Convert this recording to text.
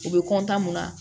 U bɛ mun na